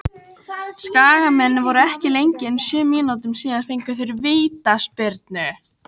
Skagamenn voru ekki lengi en sjö mínútum síðar fengu þeir vítaspyrnu.